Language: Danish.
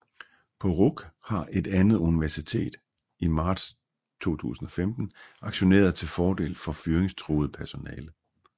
På RUC har Et Andet Universitet i marts 2015 aktioneret til fordel for fyringstruet personale